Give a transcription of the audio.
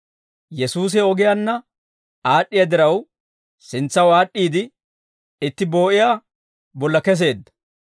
Yesuusi he ogiyaanna aad'd'iyaa diraw, sintsaw aad'd'iide itti boo'iyaa bolla keseedda.